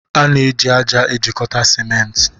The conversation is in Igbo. A na-eji ájá ejikọta simenti.